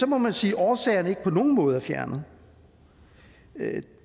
må man sige at årsagerne ikke på nogen måde er fjernet